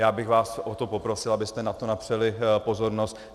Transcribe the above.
Já bych vás o to poprosil, abyste na to napřeli pozornost.